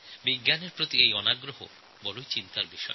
বিজ্ঞানের প্রতি আগ্রহ কমে যাওয়া খুব চিন্তার বিষয়